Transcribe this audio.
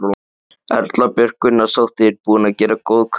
Erla Björg Gunnarsdóttir: Búinn að gera góð kaup?